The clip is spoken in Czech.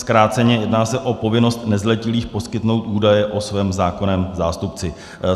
Zkráceně, jedná se o povinnost nezletilých poskytnout údaje o svém zákonném zástupci.